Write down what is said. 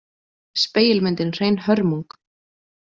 Spegilmyndin hrein hörmung.